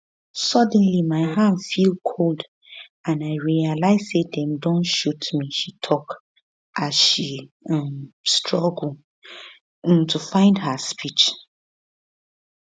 suddenly my hand feel cold and i realise say dem don shoot me she tok as um she struggle um to find her speech